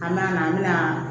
An mɛna an mɛna